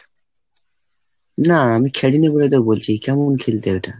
না আমি খেলিনি বলে তো বলছি, কেমন খেলতে ওটা?